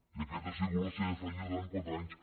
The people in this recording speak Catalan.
i aquesta ha sigut la seva feina durant quatre anys